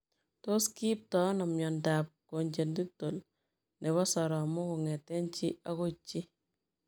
Tos kiiptoi anoo miondoop congenital nepoo soromok kongetee chi agoi chii?